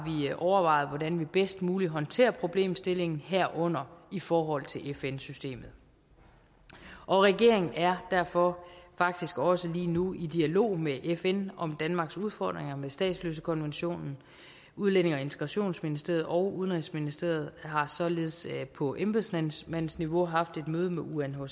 vi overvejet hvordan vi bedst muligt håndterer problemstillingen herunder i forhold til fn systemet regeringen er derfor faktisk også lige nu i dialog med fn om danmarks udfordringer med statsløsekonventionen udlændinge og integrationsministeriet og udenrigsministeriet har således på embedsmandsniveau haft et møde med unhcr